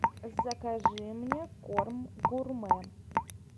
закажи мне корм гурме